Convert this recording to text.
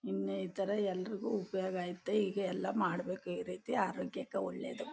ಇನ್ನು ಈ ಥರ ಎಲ್ಲಾರಿಗೂ ಐತೆ ಹೀಗೆ ಎಲ್ಲ ಮಾಡಬೇಕು ಈ ರೀತಿ ಆರೋಗ್ಯಕೆ ಒಳ್ಳೇದು --